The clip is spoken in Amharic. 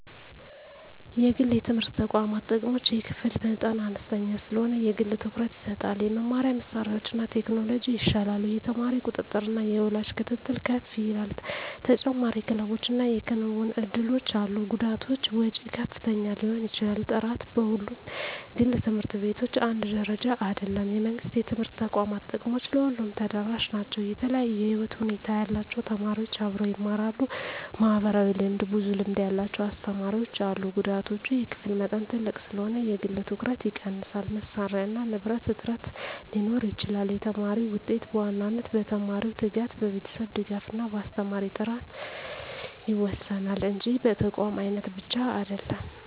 1) የግል የትምህርት ተቋማት ጥቅሞች የክፍል መጠን አነስተኛ ስለሆነ የግል ትኩረት ይሰጣል የመማሪያ መሳሪያዎችና ቴክኖሎጂ ይሻላሉ የተማሪ ቁጥጥርና የወላጅ ክትትል ከፍ ይላል ተጨማሪ ክለቦችና የክንውን እድሎች አሉ ጉዳቶች ወጪ ከፍተኛ ሊሆን ይችላል ጥራት በሁሉም ግል ት/ቤቶች አንድ ደረጃ አይደለም የመንግሥት የትምህርት ተቋማት ጥቅሞች ለሁሉም ተደራሽ ናቸው የተለያዩ የህይወት ሁኔታ ያላቸው ተማሪዎች አብረው ይማራሉ (ማህበራዊ ልምድ) ብዙ ልምድ ያላቸው አስተማሪዎች አሉ ጉዳቶች የክፍል መጠን ትልቅ ስለሆነ የግል ትኩረት ይቀንሳል መሳሪያና ንብረት እጥረት ሊኖር ይችላል የተማሪ ውጤት በዋናነት በተማሪው ትጋት፣ በቤተሰብ ድጋፍ እና በአስተማሪ ጥራት ይወሰናል እንጂ በተቋም አይነት ብቻ አይደለም።